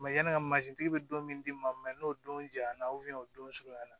yanni ka mazi be don min di ma n'o don jayana o don surunya na